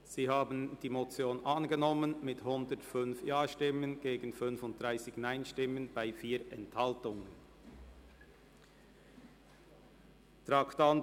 Sie haben die Motion angenommen mit 105 Ja- gegen 35 Nein-Stimmen bei 4 Enthaltungen.